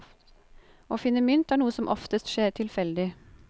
Å finne mynt er noe som oftest skjer tilfeldig.